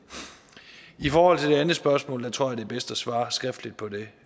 i forhold til det andet spørgsmål tror jeg det er bedst at svare skriftligt på det